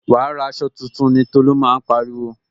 Wa ra aṣọ tuntun ni Tolu máa ń pariwo